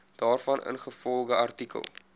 daarvan ingevolge artikel